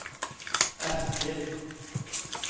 Eskil